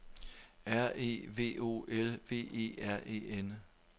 R E V O L V E R E N